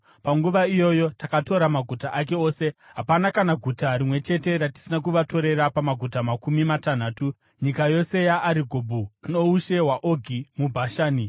Panguva iyoyo takatora maguta ake ose. Hapana kana guta rimwe chete ratisina kuvatorera pamaguta makumi matanhatu, nyika yose yeArigobhu, noushe hwaOgi muBhashani.